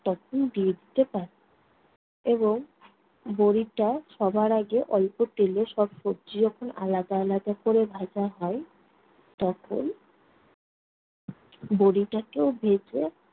তখন দিয়ে দিতে পারেন এবং বড়িটা সবার আগে অল্প তেলে সব সবজি যখন আলাদা আলাদা কোরে ভাজা হয়, তখন বড়িটাকেও ভেজে